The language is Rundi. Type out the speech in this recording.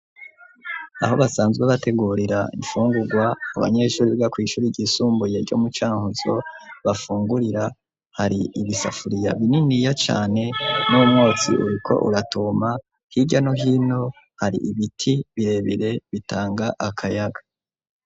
Aho basanzwe bategurira ifungurwa, abanyeshuri biga kw'ishuri ryisumbuye ryo mu Cankuzo bafungurira, hari ibisafuriya bininiya cane n'umwotsi uriko uratuma. Hirya no hino hari ibiti birebire bitanga akayaga.